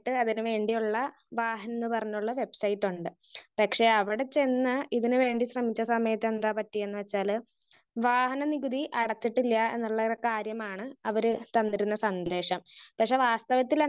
Speaker 1 അതിന് വേണ്ടിയുള്ള വഹാൻന്ന് പറഞ്ഞുള്ള വെബ്സൈറ്റുണ്ട്. പക്ഷെ അവിടെ ചെന്ന് ഇതിന് വേണ്ടി ശ്രമിച്ച സമയത്ത് എന്താ പറ്റിയെന്ന് വെച്ചാല് വാഹന നികുതി അടച്ചിട്ടില്ലാ എന്നുള്ളൊരു കാര്യമാണ് അവര് തന്നിരുന്നൊരു സന്ദേശം. പക്ഷെ വാസ്തവത്തില്